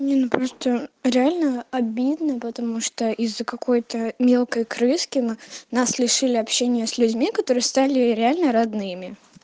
ну просто реально обидно потому что из-за какой-то мелкой крыски мы нас лишили общения с людьми которые стали реально родными